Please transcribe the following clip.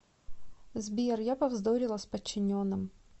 сбер я повздорила с подчиненным